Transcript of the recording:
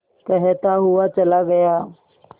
कहता हुआ चला गया